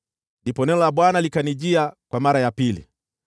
Ndipo neno la Bwana likanijia kwa mara ya pili: